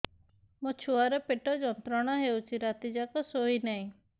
ମୋ ଛୁଆର ପେଟ ଯନ୍ତ୍ରଣା ହେଉଛି ରାତି ଯାକ ଶୋଇନାହିଁ